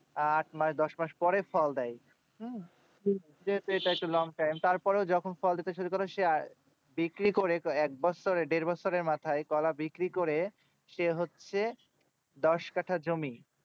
আট নয় দশ মাস পরে ফল দেয় হম এটা একটা long time তার পরে এইটা যখন ফল দিতে শুরু করে সে আই বিক্রি করে এক বস্তা দেড় বস্তার মাথায় কলা বিক্রি করে সে হচ্ছে দশ কাঠা জমি